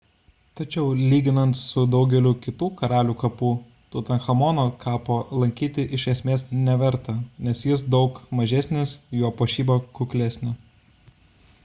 tačiau lyginant su daugeliu kitų karalių kapų tutanchamono kapo lankyti iš esmės neverta nes jis daug mažesnis jo puošyba kuklesnė